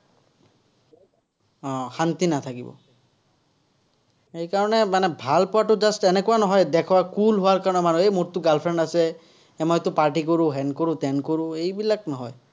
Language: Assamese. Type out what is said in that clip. উম শান্তি নাথাকিব। সেইকাৰণে মানে ভাল পোৱাটো just এনেকুৱা নহয়, দেখুৱা, cool হোৱাৰ কাৰণে মোৰটো girl friend আছে। মইটো party কৰোঁ, হেন কৰোঁ, তেন কৰোঁ, এইবিলাক নহয়।